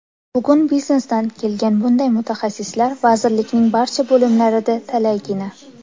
Bugun biznesdan kelgan bunday mutaxassislar vazirlikning barcha bo‘limlarida talaygina.